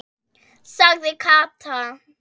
sagði Kata.